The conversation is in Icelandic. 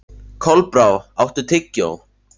Kolbrá, áttu tyggjó?